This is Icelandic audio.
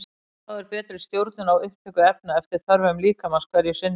Þá er betri stjórnun á upptöku efna eftir þörfum líkamans hverju sinni.